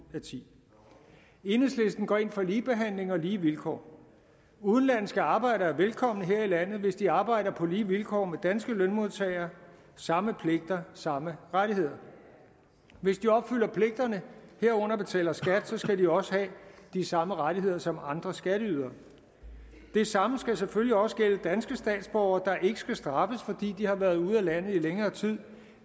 af ti år enhedslisten går ind for ligebehandling og lige vilkår udenlandske arbejdere er velkommne her i landet hvis de arbejder på lige vilkår med danske lønmodtagere samme pligter samme rettigheder hvis de opfylder pligterne herunder betaler skat skal de også have de samme rettigheder som andre skatteydere det samme skal selvfølgelig også gælde danske statsborgere der ikke skal straffes fordi de har været ude af landet i længere tid